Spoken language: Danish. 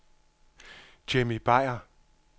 Jimmy Beyer